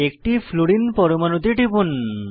একটি ফ্লুরিন পরমাণুতে টিপুন